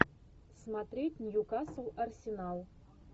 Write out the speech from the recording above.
смотреть ньюкасл арсенал